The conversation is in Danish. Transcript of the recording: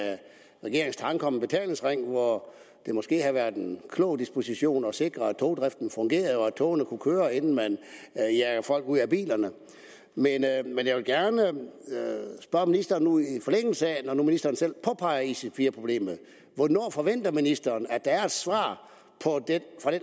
regeringens tanke om en betalingsring hvor det måske havde været en klog disposition at sikre at togdriften fungerede og at togene kunne køre inden man jager folk ud af bilerne men jeg vil gerne i forlængelse når nu ministeren selv påpeger ic4 problemet hvornår forventer ministeren der er et svar